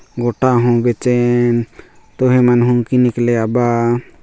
गोटा हूँ बेचाइन तुही मन हुनकी निकले आबा--